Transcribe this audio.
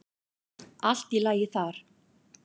Allt í lagi þar.